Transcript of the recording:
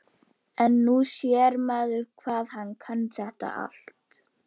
En nú sér maður hvað hann kann þetta allt.